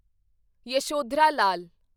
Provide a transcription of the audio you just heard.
Yashodhara Lal